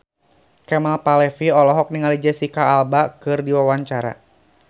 Kemal Palevi olohok ningali Jesicca Alba keur diwawancara